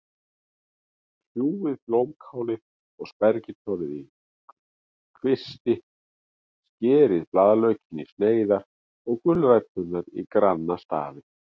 Kljúfið blómkálið og spergilkálið í kvisti, skerið blaðlaukinn í sneiðar og gulræturnar í granna stafi.